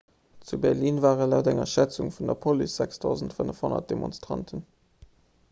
zu berlin ware laut enger schätzung vun der police 6 500 demonstranten